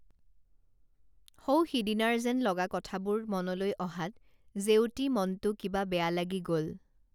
সৌসিদিনাৰ যেন লগা কথাবোৰ মনলৈ অহাত জেউতী মনটো কিবা বেয়া লাগি গল